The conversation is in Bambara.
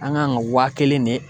An kan ka waa kelen de